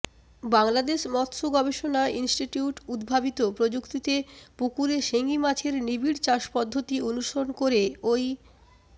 বাংলাদেশ মৎস্য গবেষণা ইনস্টিটিউট উদ্ভাবিত প্রযুক্তিতে পুকুরে শিং মাছের নিবিড় চাষ পদ্ধতি অনুসরণ করে ওই